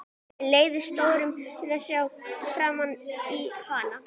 Mér létti stórum við að sjá framan í hana.